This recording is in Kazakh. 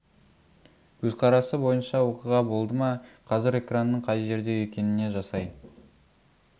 көзқарасы бойынша оқиға болды ма қазір экранның қай жерде екеніне жасай